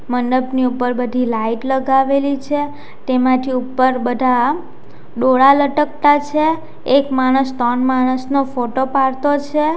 મંડપની ઉપર બધી લાઈટ લગાવેલી છે તેમાંથી ઉપર બધા ડોળા લટકતા છે એક માણસ ત્રણ માણસ નો ફોટો પાડતો છે.